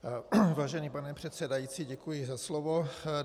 Vážený pane předsedající, děkuji za slovo.